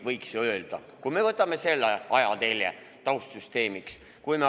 Võiks ju nii öelda, kui me võtame taustsüsteemiks selle ajatelje.